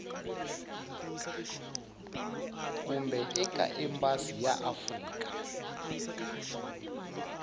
kumbe eka embasi ya afrika